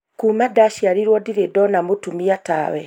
kuma ndaciarirwo ndirĩ ndona mũtumia tawe